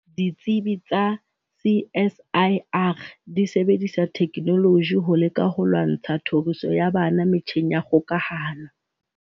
Ditsibi tsa CSIR di sebedisa thekenoloji ho leka ho lwantsha tlhoriso ya bana metjheng ya kgokahano.